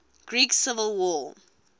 greek civil war